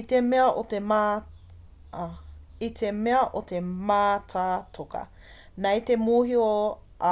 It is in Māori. i te mea o te mātātoka nei e mōhio